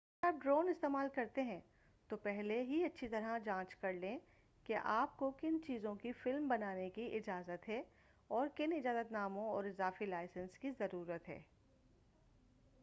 اگر آپ ڈرون استعمال کرتے ہیں تو پہلے ہی اچھی طرح جانچ کر لیں کہ آپ کو کن چیزوں کی فلم بنانے کی اجازت ہے اور کن اجازت ناموں اور اضافی لائسنس کی ضرورت ہے